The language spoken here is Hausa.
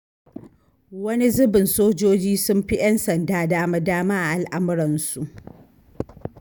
Wani zubin sojoji sun fi 'yan sanda dama-dama a al'amuransu.